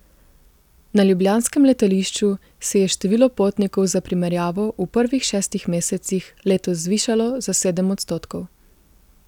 Na ljubljanskem letališču se je število potnikov za primerjavo v prvih šestih mesecih letos zvišalo za sedem odstotkov.